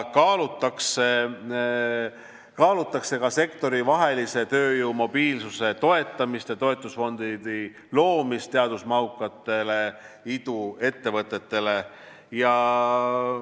Kaalutakse ka sektorivahelise tööjõu mobiilsuse toetamist ja toetusfondi loomist teadusmahukatele iduettevõtetele.